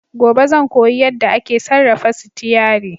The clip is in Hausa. Gobe ​​zan koyi yadda ake sarrafa sitiyari.